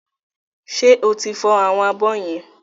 Ṣé o ti fọ àwọn abọ́ yẹn?